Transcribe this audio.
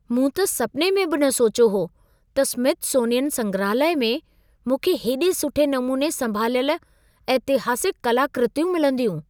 मूं त सपिने में बि न सोचियो हो त स्मिथसोनियन संग्रहालय में मूंखे हेॾे सुठे नमूने संभालियल ऐतिहासिक कलाकृतियूं मिलंदियूं।